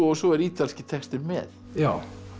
svo er ítalski textinn með já